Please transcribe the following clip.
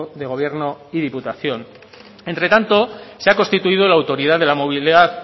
de gobierno y diputación entre tanto se ha constituido la autoridad de la movilidad